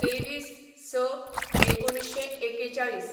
२३/०६/१९४१